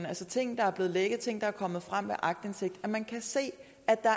altså ting der er blevet lækket ting der er kommet frem via aktindsigt at man kan se at der